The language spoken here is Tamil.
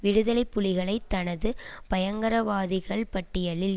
விடுதலை புலிகளை தனது பயங்கரவாதிகள் பட்டியலில்